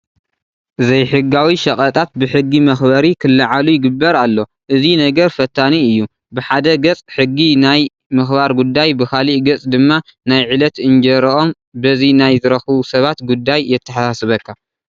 ዘይሕጋዊ ሸቐጣት ብሕጊ መኽበሪ ክለዓሉ ይግበር ኣሎ፡፡ እዚ ነገር ፈታኒ እዩ፡፡ ብሓደ ገፅ ሕጊ ናይ ምኽባር ጉዳይ ብኻልእ ገፅ ድማ ናይ ዕለት እንጀርኦም በዚ ናይ ዝረኽቡ ሰባት ጉዳይ የተሓሳስበካ፡፡